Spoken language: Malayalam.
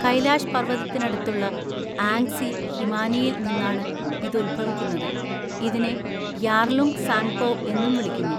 കൈലാഷ് പർവതത്തിനടുത്തുള്ള ആംഗ്സി ഹിമാനിയിൽ നിന്നാണ് ഇത് ഉത്ഭവിക്കുന്നത്, ഇതിനെ യാർലുങ് സാങ്പോ എന്നും വിളിക്കുന്നു.